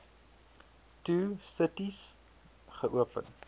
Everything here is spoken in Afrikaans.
two cities geopen